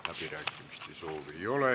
Läbirääkimiste soovi ei ole.